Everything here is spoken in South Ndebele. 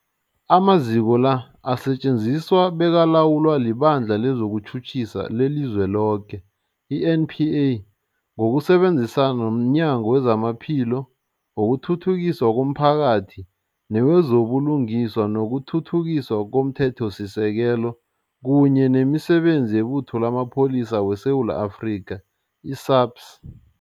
Amaziko la asetjenziswa bekalawulwa liBandla lezokuTjhutjhisa leliZweloke, i-NPA, ngokusebenzisana nomnyango wezamaPhilo, wokuthuthukiswa komphakathi newezo buLungiswa nokuThuthukiswa komThethosisekelo, kunye nemiSebenzi yeButho lamaPholisa weSewula Afrika, i-SAPS.